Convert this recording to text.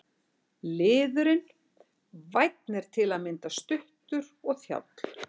Liðurinn- vænn er til að mynda stuttur og þjáll.